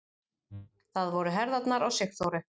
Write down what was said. Það voru herðarnar á Sigþóru.